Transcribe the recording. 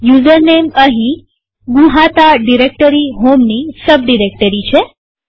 યુઝરનેમઅહીં નુહાતા ડિરેક્ટરી હોમની sub directory છે